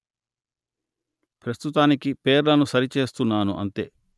ప్రస్తుతానికి పేర్లను సరి చేస్తున్నాను అంతే